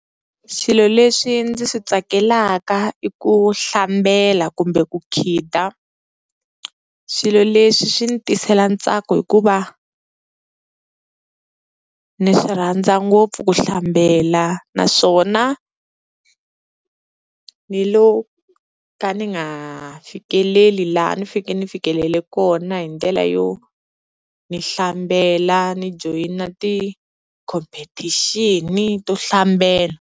Swilo leswi ndzi swi tsakelaka i ku hlambela kumbe ku khida, swilo leswi swi ni tisela ntsako hikuva ni swi rhandza ngopfu ku hlambela naswona ni lo ka ni nga fikeleli laha ni feke ni fikelele kona hi ndlela yo ni hlambela ni joyina tikhomphethixini to hlambela.